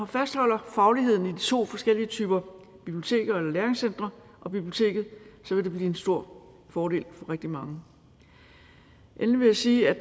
fastholder fagligheden i de to forskellige typer biblioteker eller læringscentre og biblioteket vil det blive en stor fordel for rigtig mange endelig vil jeg sige at